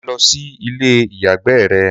Máa lọ sí ilé-àyágbé rẹ!